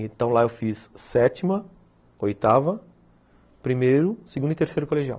Então, lá eu fiz sétima, oitava, primeiro, segundo e terceiro colegial.